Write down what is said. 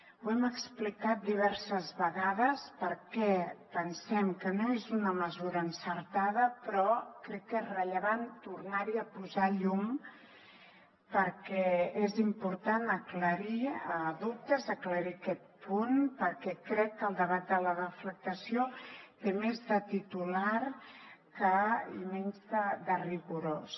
ho hem explicat diverses vegades per què pensem que no és una mesura encertada però crec que és rellevant tornar hi a posar llum perquè és important aclarir dubtes aclarir aquest punt perquè crec que el debat de la deflactació té més de titular i menys de rigorós